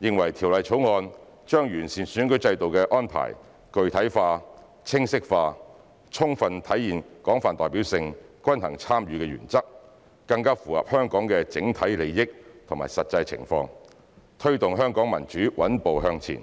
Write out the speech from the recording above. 認為《條例草案》把完善選舉制度的安排具體化、清晰化，充分體現廣泛代表性、均衡參與原則，更符合香港整體利益及實際情況，推動香港民主穩步向前。